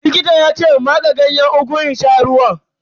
Likita ya ce in matse Ganyen ugu in sha ruwan.